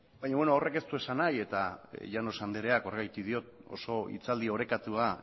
baina beno horrek ez du esan nahi eta llanos andereak horregatik diot oso hitzaldi orekatua